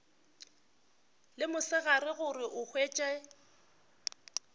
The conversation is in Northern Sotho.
le mosegare gore o hwetše